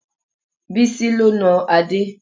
Bísí ló na Adé